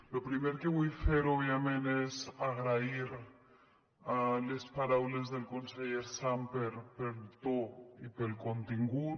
lo primer que vull fer òbviament és agrair les paraules del conseller sàmper pel to i pel contingut